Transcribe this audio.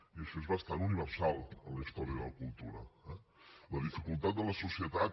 i això és bastant universal en la història de la cultura eh la dificultat de les societats